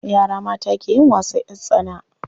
Yara mata ke yin wasan ƴar tsana.